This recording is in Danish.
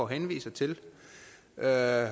henviser til og her